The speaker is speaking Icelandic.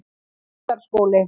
Lundarskóli